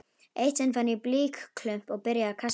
Eitt sinn fann ég blýklump og byrjaði að kasta honum.